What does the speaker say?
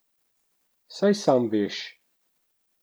Saj sam veš.